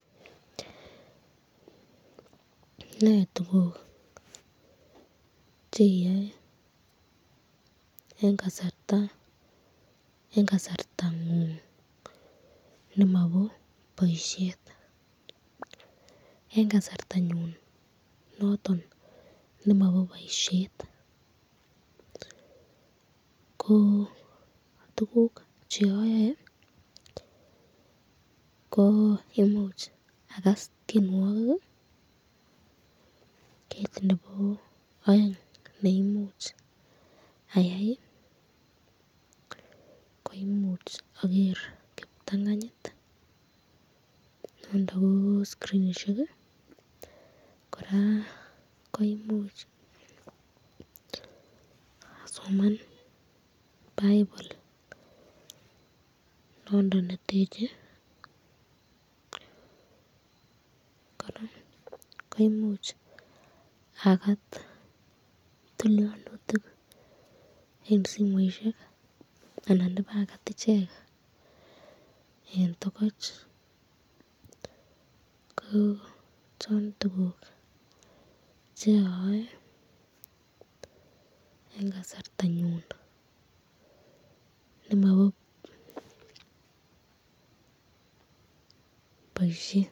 Nee tukuk cheyae, eng kasartangung nemabo boisyet eng kasarta nyun noton nemabo boisyet ko tukuk cheyoe, ko imuch akas tyenwokik, kit nebo aeng neimuchi ayai koimuch ager kiptanganyit nondon ko skrinishek koraa koimuch asoman bible nondon neteche ,koraa koimuch akat tilyonutik eng simoisyek ana ibakat iche eng tokoch.